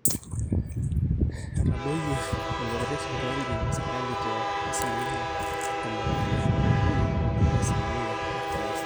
etadoyie elototo esipitali esirkari te asilimia ntomoni ile ookuni nebaiki asilimia artam oisiet